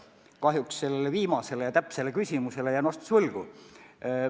Kahjuks jään sellele küsimusele vastuse võlgu.